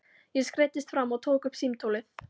Ég skreiddist fram og tók upp símtólið.